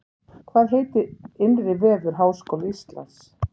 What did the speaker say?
Hvað heitir innri vefur Háskóla Íslands?